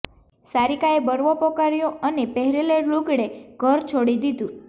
સારિકાએ બળવો પોકાર્યો અને પહેરેલે લુગડે ઘર છોડી દીધું